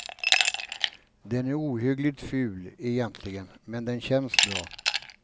Den är ohyggligt ful egentligen, men den känns bra.